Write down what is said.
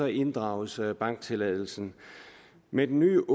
inddrages banktilladelsen med den nye